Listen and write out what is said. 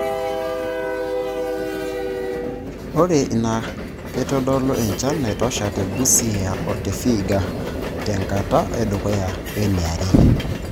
ore naa akeitodolu enchan naitosha te busia o te vihiaga te nkata edukuya we niare